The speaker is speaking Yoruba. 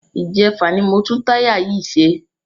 Ìjẹfà ni mo tún táyà yìí ṣe.